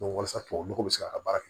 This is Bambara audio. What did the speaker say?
walasa tubabu nɔgɔ bɛ se ka ka baara kɛ